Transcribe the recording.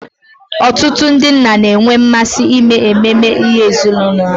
Ọtụtụ ndị nna na-enwe mmasị ime ememe ezinụlọ ha.